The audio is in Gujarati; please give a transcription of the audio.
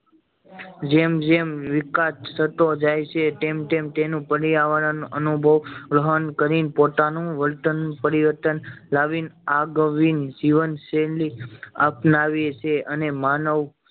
જેમ જેમ વિકાસ થતો જાય છે તેમ તેમ તેનું પર્યાવરણ અનુભવ ગ્રહણ કરી ને પોતાનું વર્તન પરિવર્તન લાવી ને આગવી જીવન શૈલી અપનાવે છે અને માનવ